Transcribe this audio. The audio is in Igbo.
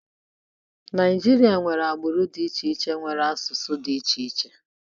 Naijiria nwere agbụrụ dị iche iche nwere asụsụ dị iche iche